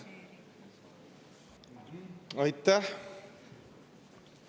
Aitäh!